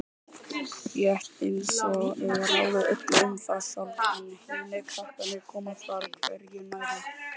Rétt einsog ég ráði öllu um það sjálf en hinir krakkarnir komi þar hvergi nærri.